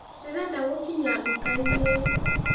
Ndĩrenda gũkinya nduka-inĩ